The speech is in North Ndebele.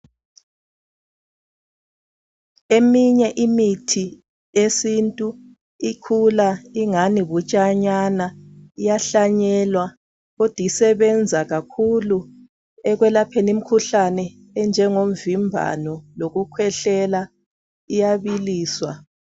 Eminye imithi yesintu ikhula ingani butshanyana, iyahlanyelwa kodwa isebenza kakhulu ekwelapheni imikhuhlane enjengomvimbano lokukhwehlela iyabiliswa.